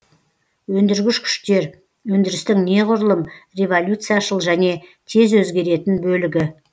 өндіргіш күштер өндірістің неғұрлым революцияшыл және тез өзгеретін бөлігі